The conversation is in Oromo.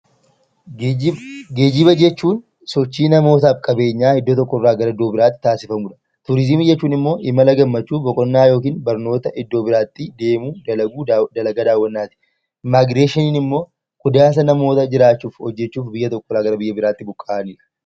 Geejjiba jechuun sochii namootaaf qabeenyaa iddoo tokko irraa gara biraatti taasifamudha. Turiizimii jechuun immoo imala gammachuu, boqonnaa yookaan barnootaaf iddoo biraatti deemuu; dalagaa daawwannaati. Immigireeshiniin immoo gadaansa namootaa jiraachuu fi hojjechuu biyya irraa gar biyya biraatti buqqa'anidha.